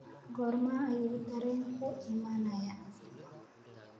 goorma ayuu tareenku imanayaa